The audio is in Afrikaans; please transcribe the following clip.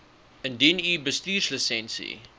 indien u bestuurslisensie